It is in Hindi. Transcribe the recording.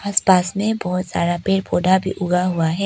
आस पास में बहोत सारा पेड़ पौधा भी उगा हुआ है।